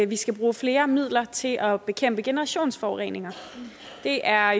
vi skal bruge flere midler til at bekæmpe generationsforureninger det er